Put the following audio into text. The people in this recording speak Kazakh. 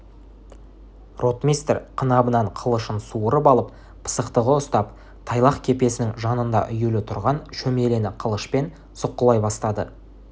ротмистр қынабынан қылышын суырып алып пысықтығы ұстап тайлақ кепесінің жанында үюлі тұрған шөмелені қылышпен сұққылай бастады